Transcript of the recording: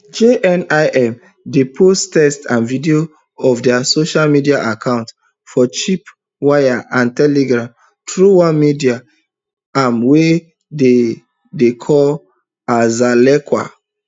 jnim dey post text and video for dia social media accounts for chirpwire and telegram through one media arm wey dem dey call alzallaqa